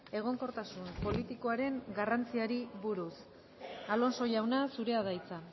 egonkortasun politikoaren garrantziari buruz alonso jauna zurea da hitza